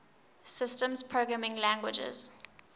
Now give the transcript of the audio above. systems programming languages